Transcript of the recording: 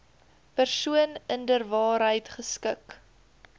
persoon inderwaarheid geskik